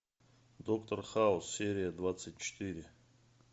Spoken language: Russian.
доктор хаус серия двадцать четыре